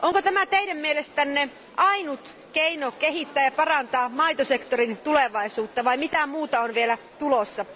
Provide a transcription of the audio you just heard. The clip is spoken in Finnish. Onko tämä teidän mielestänne ainut keino kehittää ja parantaa maitosektorin tulevaisuutta vai mitä muuta on vielä tulossa?